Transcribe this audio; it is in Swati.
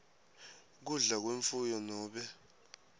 kudla kwemfuyo nobe